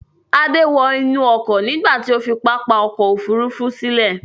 Adé wọ inú ọkọ̀ nígbà tí ó fi pápá ọkọ̀-òfurufú sílẹ̀.